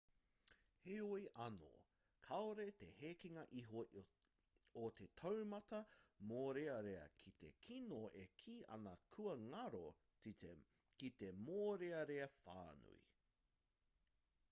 heoi anō kāore te hekenga iho o te taumata mōrearea ki te kino e kī ana kua ngaro te mōrearea whānui